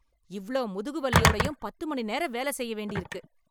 இவ்ளோ முதுகுவலியோடயும் பத்து மணி நேரம் வேல செய்ய வேண்டி இருக்கு.